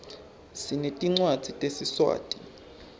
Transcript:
sinetincwadzi tesiswati